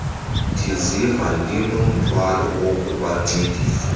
ndiziva ndinomthwalo wokubancedisa